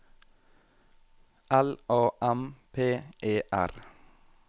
L A M P E R